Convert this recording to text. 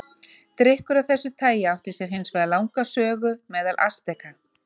Drykkur af þessu tagi átti sér hins vegar langa sögu meðal Asteka.